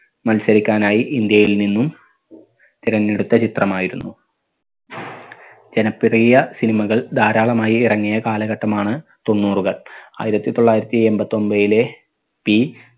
മത്സരിക്കാനായി ഇന്ത്യയിൽ നിന്നും തിരഞ്ഞെടുത്ത ചിത്രമായിരുന്നു. ജനപ്രിയ cinema കൾ ധാരാളമായി ഇറങ്ങിയ കാലഘട്ടമാണ് തൊണ്ണൂറുകൾ. ആയിരത്തി തൊള്ളായിരത്തി എമ്പത്തൊമ്പതിലെ P